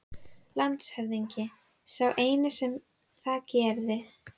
LANDSHÖFÐINGI: Sá eini sem það gerði.